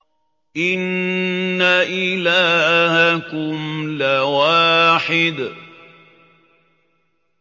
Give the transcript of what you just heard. إِنَّ إِلَٰهَكُمْ لَوَاحِدٌ